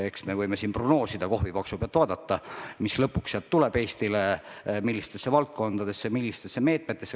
Eks me võime siin prognoosida või kohvipaksu pealt vaadata, mis sealt lõpuks Eestile tuleb, millistesse valdkondadesse ja millistesse meetmetesse.